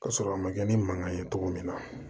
Ka sɔrɔ a ma kɛ ni mankan ye cogo min na